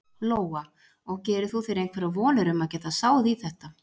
Lóa: Og gerir þú þér einhverjar vonir um að geta sáð í þetta?